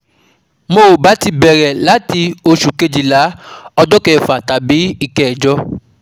Mo ba ti bere lati osu kejila ojo kefa tabi ikejo